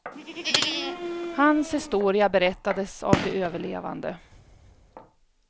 Hans historia berättades av de överlevande.